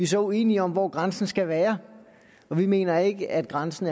så uenige om hvor grænsen skal være og vi mener ikke at grænsen